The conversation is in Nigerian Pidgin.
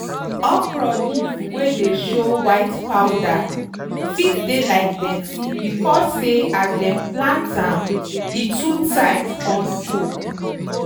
okro leaf wey dey show white powder fit dey like dirty becos say as dem plant am e too tight con choke.